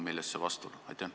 Millest see vastuolu?